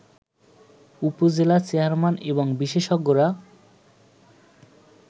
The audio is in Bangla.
উপজেলা চেয়ারম্যান এবং বিশেষজ্ঞরা